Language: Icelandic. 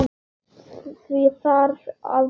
Því þarf að breyta.